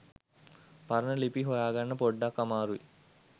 පරණ ලිපි හොයාගන්න පොඩ්ඩක් අමාරුයි.